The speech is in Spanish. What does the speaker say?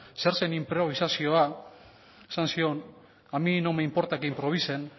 zer zen inprobisazioa esan zion a mí no me importa que improvisen